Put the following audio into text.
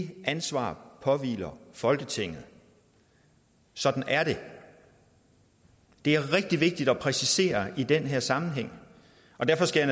det ansvar påhviler folketinget sådan er det det er rigtig vigtigt at præcisere i den her sammenhæng og derfor skal